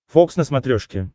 фокс на смотрешке